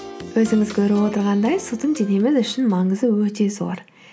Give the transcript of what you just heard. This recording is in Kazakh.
өзіңіз көріп отырғандай судың денеміз үшін маңызы өте зор